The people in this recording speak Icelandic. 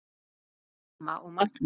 Þín mamma og Magnús.